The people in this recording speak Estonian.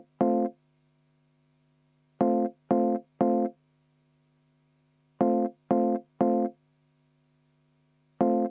Vaheaeg 10 minutit.